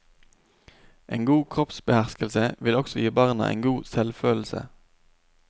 En god kroppsbeherskelse vil også gi barna en god selvfølelse.